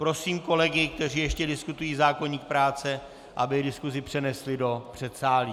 Prosím kolegy, kteří ještě diskutují zákoník práce, aby diskusi přenesli do předsálí.